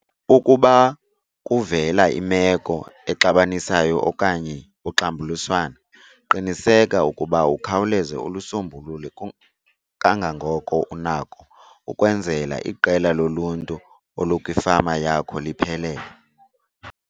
Ukuba kuvela imeko exabanisayo okanye uxambuliswano qiniseka ukuba ukhawuleza ulisombulule kangangoko unako ukwenzela iqela loluntu olukwifama yakho liphelele.